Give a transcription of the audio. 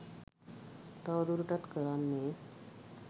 තව දුරටත් කරන්නේ